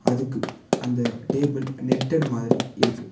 அதுக்கு அந்த table netted மாரி இருக்கு.